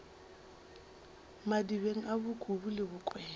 madibeng a bokubu le bokwena